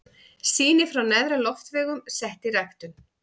Sýni frá neðri loftvegum sett í ræktun.